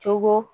Cogo